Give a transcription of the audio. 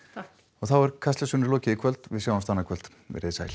þá er Kastljósinu lokið í kvöld við sjáumst annað kvöld verið þið sæl